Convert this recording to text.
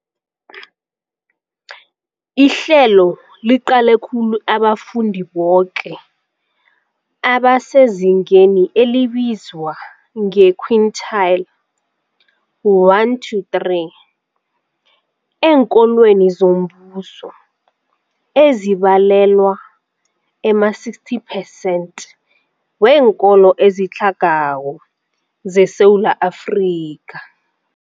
Ihlelo liqale khulu abafundi boke abasezingeni elibizwa nge-quintile 1-3 eenkolweni zombuso, ezibalelwa ema-60 percent weenkolo ezitlhagako zeSewula Afrika.